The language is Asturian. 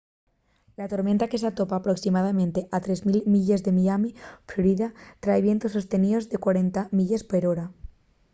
la tormenta que s’atopa aproximadamente a 3.000 milles de miami florida trai vientos sosteníos de 40 milles per hora 64 km/h